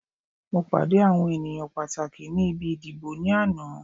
Mo pàdé àwọn ènìyàn pàtàkì ni ibi ìdìbò ní àná